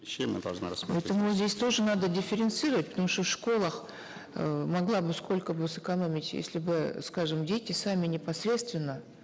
чем э должна поэтому здесь тоже надо дифференцировать потому что в школах э могла бы сколько бы сэкономить если бы скажем дети сами непосредственно